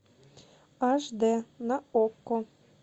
аш дэ на окко